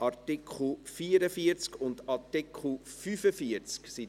Art. 44 und Art. 45 / Art.